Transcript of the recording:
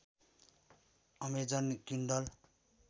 Amazon Kindle